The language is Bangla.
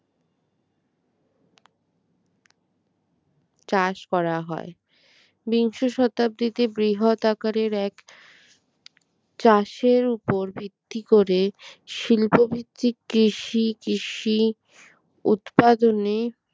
চাষ করা হয়। বিংশ শতাব্দীতে বৃহৎ আকারের এক চাষের উপর ভিত্তি করে শিল্পভিত্তিক কৃষি কৃষি উৎপাদনে